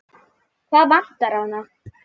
Hvað vantar hana?